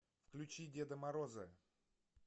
включи деда мороза